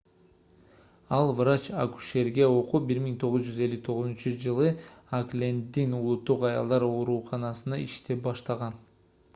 ал врач-акушерге окуп 1959-жылы окленддин улуттук аялдар ооруканасында иштеп баштаган